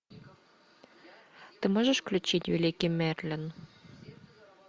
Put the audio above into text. ты можешь включить великий мерлин